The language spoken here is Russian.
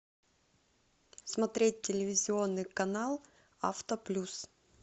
смотреть телевизионный канал авто плюс